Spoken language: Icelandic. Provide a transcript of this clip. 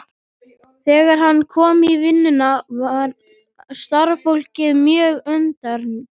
Þegar hann kom í vinnuna varð starfsfólkið mjög undrandi.